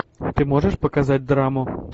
ты можешь показать драму